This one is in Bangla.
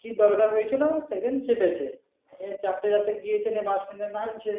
কি দরকার হয়েছিল সেদিন চেপেছে চাপতে চাপতে এ গিয়ে bus stand এ দিয়ে নামছে